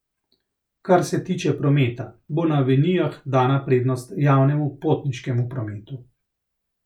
Kar se tiče prometa, bo na avenijah dana prednost javnemu potniškemu prometu.